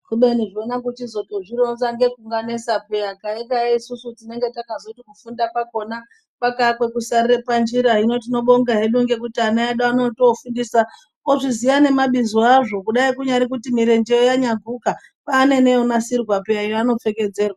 Kubeni zvona kuchizotozvironza ngekunganesa piyani, taidai isusu tinenge takazoti kufunda kwakona kwakaa kwekusarire panjira hino tinobonga hedu ngekuti ana edu anotofundiswa ozviziya nemabizo azvo, kudai kunyari kuti mirenje yoo yanyaguka, kwaane neyonasirwa peya yaano pfekedzerwa.